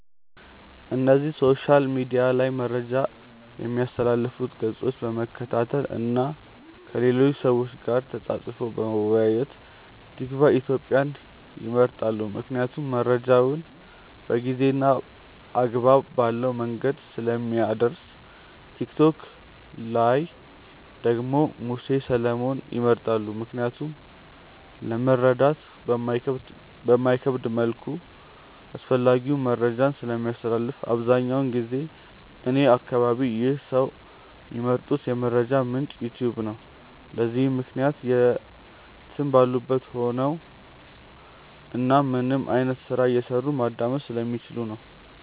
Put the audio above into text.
እነዚህ ሶሻል ሚድያ ላይ መረጃ ሚያስተላልፉትን ገፆች በመከታተል እና ከሌሎች ሰዎች ጋር ተፃፅፎ በመወያየት። ቲክቫ ኢትዮጵያን ይመርጣሉ ምክንያቱም መረጃውን በጊዜ እና አግባብ ባለው መንገድ ስለሚያደርስ። ቲክቶክ ላይ ደግሞ ሙሴ ሰለሞንን ይመርጣሉ ምክንያቱም ለመረዳት በማይከብድ መልኩ አስፈላጊውን መረጃን ስለሚያስተላልፍ። አብዛኛውን ጊዜ እኔ አከባቢ ይህ ሰዎች ሚመርጡት የመረጃ ምንጭ "ዩትዩብ" ነው። ለዚህም ምክንያት የትም ባሉበት ቦታ ሆነው እናም ምንም አይነት ስራ እየሰሩ ማዳመጥ ስለሚችሉ ነው።